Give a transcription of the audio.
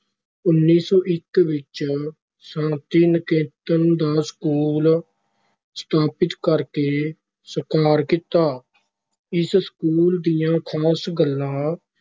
ਉੱਨੀ ਸੌ ਇੱਕ ਵਿਚ ਸ਼ਾਂਤੀ ਨਿਕੇਤਨ ਦਾ ਸਕੂਲ ਸਥਾਪਿਤ ਕਰਕੇ ਸਾਕਾਰ ਕੀਤਾ, ਇਸ ਸਕੂਲ ਦੀਆਂ ਖਾਸ ਗੱਲਾਂ